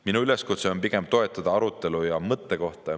Minu üleskutse on pigem toetada arutelu ja mõttekohta.